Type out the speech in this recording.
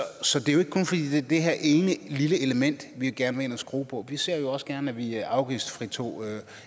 så det er jo ikke kun fordi det er det her ene lille element vi gerne vil ind og skrue på vi ser jo også gerne at vi afgiftsfritager